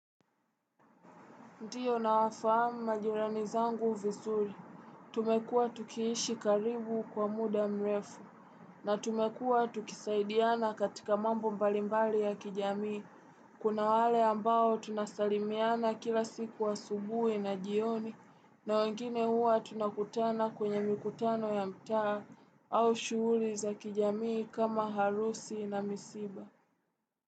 Ndio nawafahamu majirani zangu vizuri, tumekuwa tukiishi karibu kwa muda mrefu, na tumekuwa tukisaidiana katika mambo mbalimbali ya kijamii, kuna wale ambao tunasalimiana kila siku asubuhi na jioni, na wengine huwa tunakutana kwenye mikutano ya mtaa, au shughuli za kijamii kama harusi na misiba.